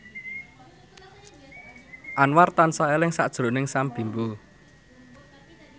Anwar tansah eling sakjroning Sam Bimbo